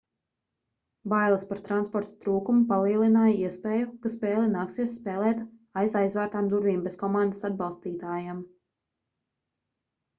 bailes par transporta trūkumu palielināja iespēju ka spēli nāksies spēlēt aiz aizvērtām durvīm bez komandas atbalstītājiem